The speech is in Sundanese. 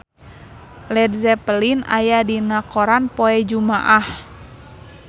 Led Zeppelin aya dina koran poe Jumaah